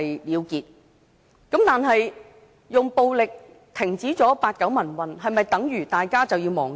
然而，用暴力停止了八九民運，是否等於大家就要忘記？